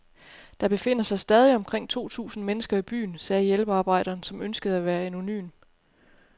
Der befinder sig stadig omkring to tusind mennesker i byen, sagde hjælpearbejderen, som ønskede at være anonym.